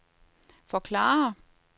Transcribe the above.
forklare